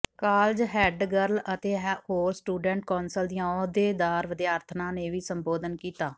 college head girl ਅਤੇ ਹੋਰ student council ਦੀਆਂ ਅਹੁਦੇਦਾਰ ਵਿਦਿਆਰਥਣਾਂ ਨੇ ਵੀ ਸੰਬੋਧਨ ਕੀਤਾ